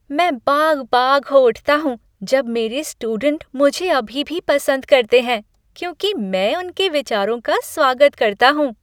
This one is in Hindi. मैं बाग बाग हो उठता हूँ जब मेरे स्टूडेंट मुझे अभी भी पसंद करते हैं, क्योंकि मैं उनके विचारों का स्वागत करता हूँ।